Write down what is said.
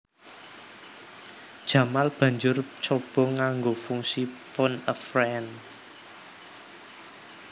Jamal banjur coba nganggo fungsi Phone a friend